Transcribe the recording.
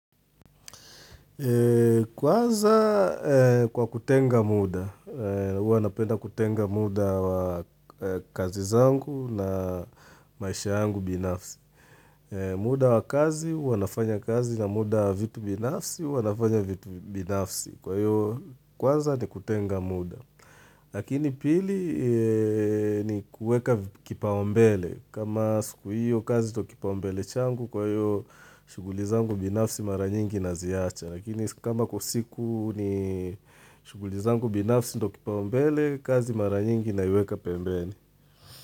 Kwanza kwa kutenga muda, uanapenda kutenga muda wa kazi zangu na maisha angu binafsi. Muda wa kazi, uanafanya kazi na muda vitu binafsi, uanafanya vitu binafsi. Kwaiyo Kwaza ni kutenga muda. Lakini pili ni kueka kipaumbele. Kama siku hiyo kazi ndo kipaumbele changu kwa hiyo shuguli zangu binafsi mara nyingi na ziacha. Lakini kama kwa siku ni shugulizangu binafsi ndokipaumbele kazi mara nyingi inaiweka pembeni.